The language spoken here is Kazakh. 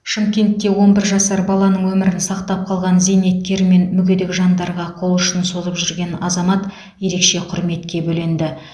шымкентте он бір жасар баланың өмірін сақтап қалған зейнеткер мен мүгедек жандарға қол ұшын созып жүрген азамат ерекше құрметке бөленді